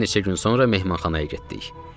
Bir neçə gün sonra Mehmanxanaya getdik.